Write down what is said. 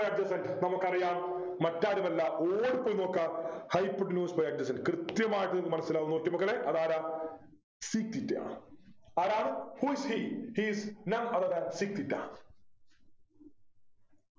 കണ്ടു കണ്ടു നമുക്കറിയാം മറ്റാരുമല്ല ഓർത്തുനോക്കാ hypotenuse by Adjacent കൃത്യമായിട്ട് മനസിലാകും നോക്ക് മക്കളെ അതാരാ sec theta ആരാണ് who is he he is none other than sec theta